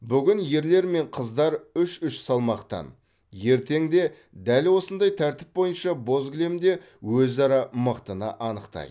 бүгін ерлер мен қыздар үш үш салмақтан ертең де дәл осындай тәртіп бойынша боз кілемде өзара мықтыны анықтайды